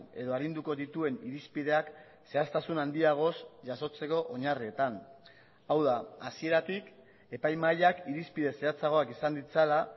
edo arinduko dituen irizpideak zehaztasun handiagoz jasotzeko oinarrietan hau da hasieratik epaimahaiak irizpide zehatzagoak izan ditzala